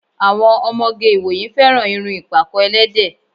Àwọn ọmọge ìwòyí fẹràn irun ìpàkọ́-ẹlẹ́dẹ̀